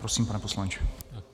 Prosím, pane poslanče.